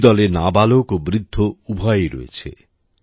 এই দলে নাবালক ও বৃদ্ধ উভয়েই রয়েছে